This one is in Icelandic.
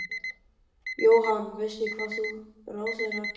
Jóhann: Veist þú hvað ráðherrar gera?